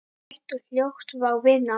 Hægt og hljótt, já vinan.